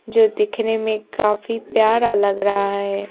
जो दिखने में काफी प्यारा लग रहा है।